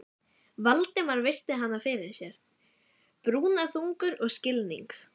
Valdimar virti hana fyrir sér, brúnaþungur og skilnings